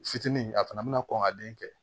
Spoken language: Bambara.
Fitinin a fana bɛna kɔn ka den kɛ